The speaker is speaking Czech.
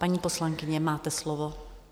Paní poslankyně, máte slovo.